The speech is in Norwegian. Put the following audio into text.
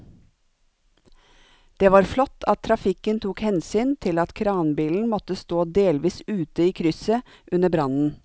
Det var flott at trafikken tok hensyn til at kranbilen måtte stå delvis ute i krysset under brannen.